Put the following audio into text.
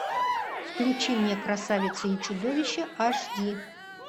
включи мне красавица и чудовище аш ди